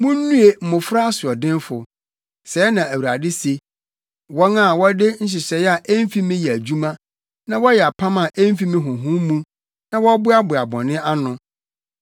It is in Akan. “Munnue mmofra asoɔdenfo,” sɛɛ na Awurade se, “Wɔn a wɔde nhyehyɛe a emfi me yɛ adwuma, na wɔyɛ apam a emfi me honhom mu, na wɔboaboa bɔne ano;